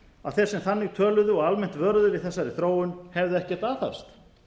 að þeir sem þannig töluðu og almennt vöruðu við þessari þróun hefðu ekkert aðhafst